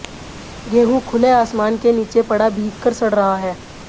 गेहूं खुले आसमान के नीचे पड़ा भीग कर सड़ रहा है